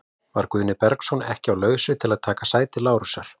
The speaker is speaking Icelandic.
Var Guðni Bergsson ekki á lausu til að taka sæti Lárusar?